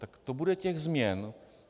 Tak to bude těch změn...